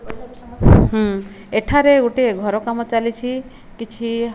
ଉଁ ଏଠାରେ ଗୋଟିଏ ଘର କାମ ଚାଲିଛି। କିଛି --